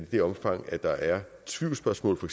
det omfang der er tvivlsspørgsmål for